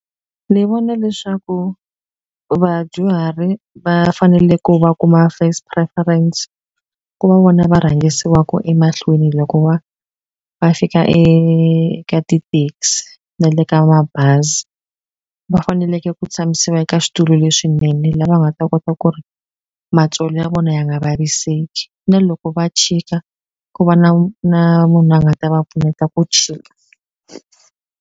Ni vona leswaku vadyuhari va fanele ku va kuma first preference ku va vona va rhangisiwaku emahlweni loko wa va fika eka ti-taxi na le ka mabazi va faneleke ku tshamisiwa eka switulu leswinene la va nga ta kota ku ri matsolo ya vona ya nga vaviseki na loko va chika ku va na na munhu a nga ta va pfuneta ku chika.